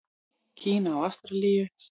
Kína og Ástralíu.